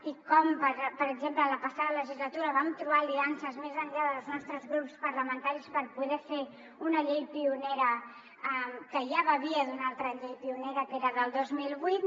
i com per exemple en la passada legislatura vam trobar aliances més enllà dels nostres grups parlamentaris per poder fer una llei pionera que ja bevia d’una altra llei pionera que era del dos mil vuit